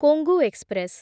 Kongu express